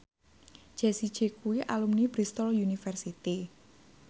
Jessie J kuwi alumni Bristol university